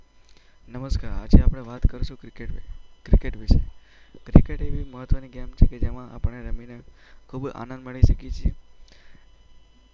નમસ્કાર, આજે આપણે વાત કરીશું ક્રિકેટ વિશે. ક્રિકેટ એવી મહત્ત્વની ગેમ છે કે જેમાં આપણે રમીને ખૂબ આનંદ માણી શકીએ છીએ.